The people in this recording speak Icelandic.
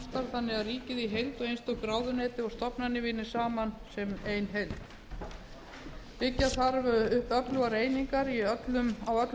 þannig að ríkið í heild og einstök ráðuneyti og stofnanir vinni saman sem ein heild byggja þarf upp öflugar einingar á öllum